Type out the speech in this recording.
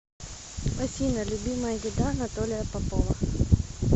афина любимая еда анатолия попова